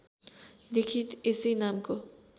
लेखित यसै नामको